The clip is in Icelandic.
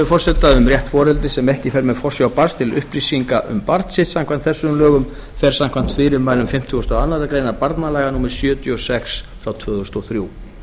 forseta um rétt foreldris sem ekki fer með forsjá barns til upplýsinga um barn sitt samkvæmt þessum lögum fer samkvæmt fyrirmælum fimmtugasta og aðra grein barnalaga númer sjötíu og sex tvö þúsund og þrjú